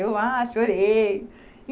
Eu lá, chorei.